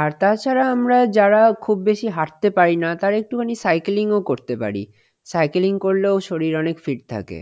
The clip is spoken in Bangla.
আর তাছাড়া আমরা যারা খুব বেশি হাঁটতে পারিনা তার একটুখানি cycling ও করতে পারি cycling করলেও শরীর অনেক fit থাকে